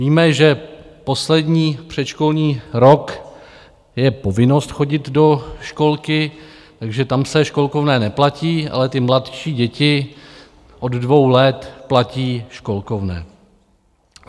Víme, že poslední předškolní rok je povinnost chodit do školky, takže tam se školkovné neplatí, ale ty mladší děti od dvou let platí školkovné.